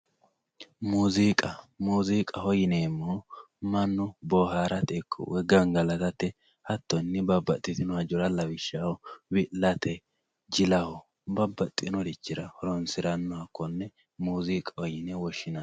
muuziiqa muuziiqaho yineemmohu mannu boohaarate ikko woy gangalatate hattonni babbaxxitino hajara lawishshaho wi'late jilaho babbaxxinorichira horoonsirannoha konne muuziiqaho yine woshshinanni.